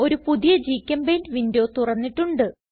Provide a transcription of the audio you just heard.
ഒരു പുതിയ ഗ്ചെമ്പെയിന്റ് വിൻഡോ തുറന്നിട്ടുണ്ട്